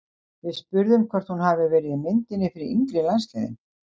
Við spurðum hvort hún hafi verið í myndinni fyrir yngri landsliðin?